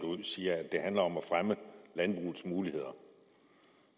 ud siger at det handler om at fremme landbrugets muligheder